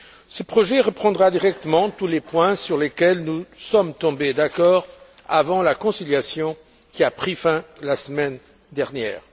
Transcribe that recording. Ce projet reprendra directement tous les points sur lesquels nous sommes tombés d'accord avant la conciliation qui a pris fin la semaine dernière.